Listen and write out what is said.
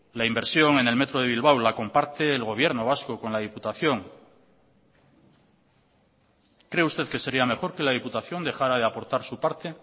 la inversión en el metro de bilbao la comparte el gobierno vasco con la diputación cree usted que sería mejor que la diputación dejara de aportar su parte